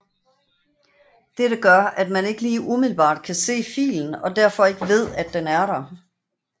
Dette gør at man ikke lige umiddelbart kan se filen og derfor ikke ved den er der